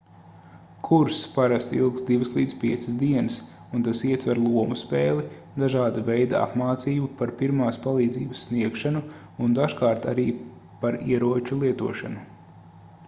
kurss parasti ilgst 2-5 dienas un tas ietver lomu spēli dažāda veida apmācību par pirmās palīdzības sniegšanu un dažkārt arī par ieroču lietošanu